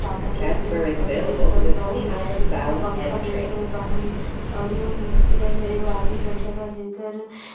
सादा कलर के एगो घड़ी देख रहल बानी। एगो पंखा देख रहल बानी और एगो कुर्सी बा एमे एगो आदमी बइठल बा जेकर --